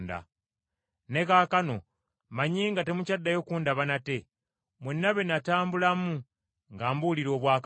“Ne kaakano mmanyi nga temukyaddayo kundaba nate, mwenna be natambulamu nga mbuulira obwakabaka.